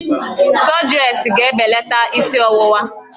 Sọdresị ga-ebelata isi ọwụwa